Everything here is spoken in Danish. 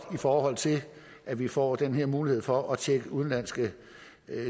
i forhold til at vi får den her mulighed for at tjekke udenlandske